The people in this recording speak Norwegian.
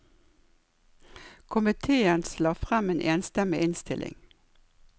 Komitéens la frem en enstemmig innstilling.